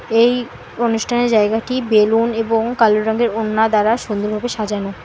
এই অনুষ্ঠানের জায়গাটি বেলুন এবং কালো রঙের ওড়না দ্বারা সুন্দর ভাবে সাজানো।